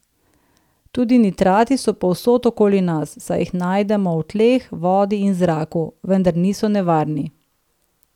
Tudi nitrati so povsod okoli nas, saj jih najdemo v tleh, vodi in zraku, vendar niso nevarni.